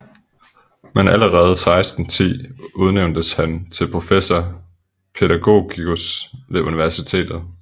Men allerede 1610 udnævntes han til professor pædagogicus ved universitetet